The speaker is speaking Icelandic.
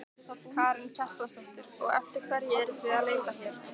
Karen Kjartansdóttir: Og eftir hverju eruð þið að leita hér?